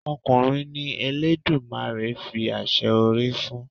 Ọkùnrin ni Eledumare fi àṣẹ orí fún.